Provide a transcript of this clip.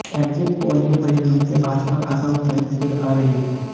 exit poll के परिणाम से भाजपा खासा उत्साहित नजर आ रही है